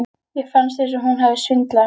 Mér fannst eins og hún hefði svindlað á mér.